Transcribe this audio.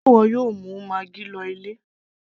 sé ìwọ yóò mú maggi lọ ilé